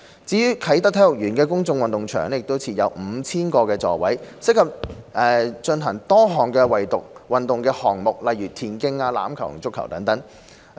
至於啟德體育園的公眾運動場，設有 5,000 個座位，適合進行多種運動項目，如田徑、欖球和足球。